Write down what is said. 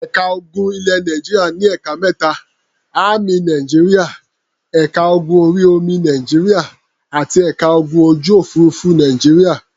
Ẹ̀ka ogun ilẹ̀ Nàìjíríà ní ẹ̀ka mẹ́ta; Ámì Nàìjíríà, ẹ̀ka ogun orí-omi Nàìjíríà àti ẹ̀ka ogun ojú-òfurufú Nàìjíríà.